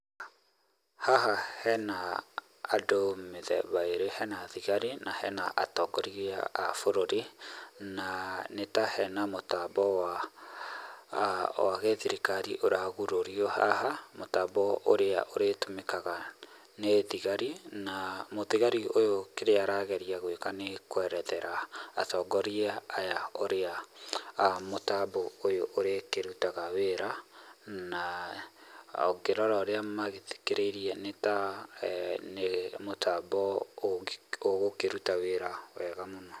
Haha he na andũ mĩthemba ĩrĩ, hena thigari na hena atongoria a bũrũri, na nĩta hena mũtambo wa, wa gĩthirikari ũragurũrio haha mũtambo ũrĩa ũrĩtũmikaga nĩ thĩgari, na mũthigri ũyũ kĩria arageria gũĩka nĩ kwerethera atongoria aya ũria mũtambo ũyũ ũrĩkĩrutaga wĩra na ũkĩrora ũria magĩthikĩrĩirie nĩ ta nĩ mũtambo ũgũkĩruta wĩra wega mũno.